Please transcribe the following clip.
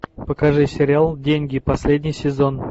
покажи сериал деньги последний сезон